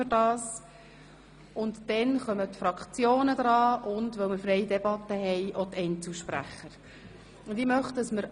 Anschliessend sind die Fraktionen an die Reihe, und dann auch die Einzelsprecher, da wir nun eine freie Debatte führen.